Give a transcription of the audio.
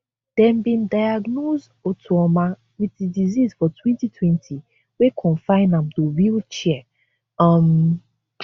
dem bin diagnose otuoma wit di disease for twenty twenty wey confine am to wheelchair um